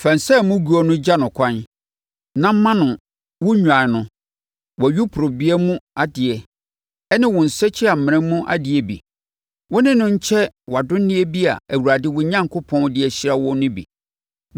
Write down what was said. Fa nsa a emu go gya no ɛkwan na ma no wo nnwan no, wʼayuporebea mu adeɛ ne wo nsakyimena mu adeɛ bi. Wo ne no nkyɛ wʼadonneɛ bi a Awurade, wo Onyankopɔn, de ahyira wo no bi.